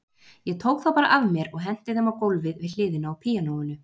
Ég tók þá bara af mér og henti þeim á gólfið við hliðina á píanóinu.